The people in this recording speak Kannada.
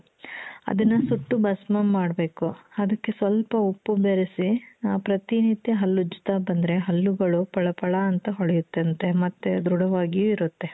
ಅದನ್ನ ಸುಟ್ಟು ಭಸ್ಮ ಮಾಡ್ಬೇಕು ಅದಕ್ಕೆ ಸ್ವಲ್ಪ ಉಪ್ಪು ಬೆರೆಸಿ ಆ ಪ್ರತಿನಿತ್ಯ ಹಲ್ಲುಜ್ಜುತ್ತಾ ಬಂದ್ರೆ ಹಲ್ಲುಗಳು ಫಳ ಫಳ ಅಂತ ಹೊಳಿಯುತ್ತಂತೆ ಮತ್ತೆ ಧೃಢವಾಗಿಯೂ ಇರುತ್ತೆ .